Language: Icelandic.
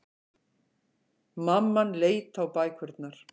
Mamman leit á bækurnar.